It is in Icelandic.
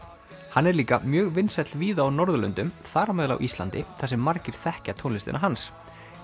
hann er líka mjög vinsæll víða á Norðurlöndum þar á meðal Íslandi þar sem margir þekkja tónlistina hans